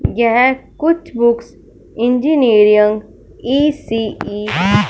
यह कुछ books engineering E C E --